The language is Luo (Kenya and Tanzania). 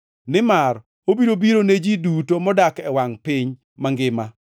Nimar obiro biro ne ji duto modak e wangʼ piny mangima.